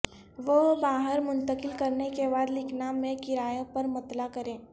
وہ باہر منتقل کرنے کے بعد لکھنا میں کرایہ پر مطلع کریں